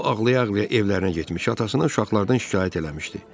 O ağlaya-ağlaya evlərinə getmiş, atasına uşaqlardan şikayət eləmişdi.